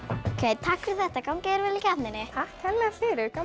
takk fyrir þetta gangi þér vel í keppninni takk kærlega fyrir gaman